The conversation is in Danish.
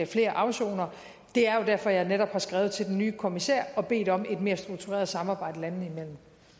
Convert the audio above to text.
flere afsonere det er jo derfor at jeg netop har skrevet til den nye kommissær og bedt om et mere struktureret samarbejde